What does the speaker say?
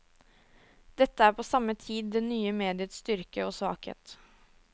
Dette er på samme tid det nye mediets styrke og svakhet.